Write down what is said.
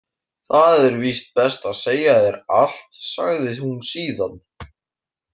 Það er víst best að segja þér allt, sagði hún síðan.